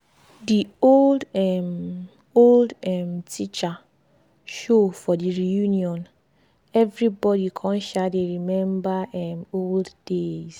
de old um old um teacher show for the reunion everybody come um dey remember um old days